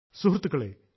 സുഹൃത്തുക്കളേ